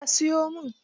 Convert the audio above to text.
Eh, a siyo min.